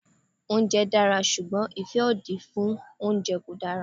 Oúnjẹ dára ṣùgbọ́n ìfẹ́ òdì fún oúnjẹ kò dára.